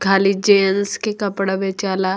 खाली जेंट्स के कपड़ा बेचाला।